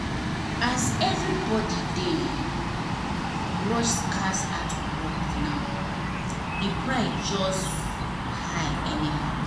as everybody dey um rush scarce artworks now the price just high anyhow.